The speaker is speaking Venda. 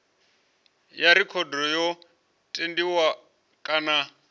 ya rekhodo yo tendiwa kana